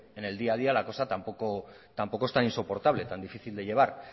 en el día a día la cosa tampoco es tan insoportable tan difícil de llevar